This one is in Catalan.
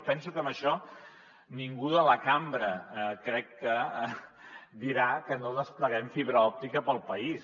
penso que en això ningú de la cambra crec que dirà que no despleguem fibra òptica pel país